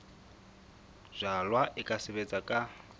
jalwa e ka sebetswa ka